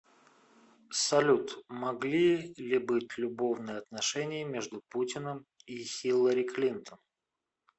салют могли ли быть любовные отношения между путиным и хилари клинтон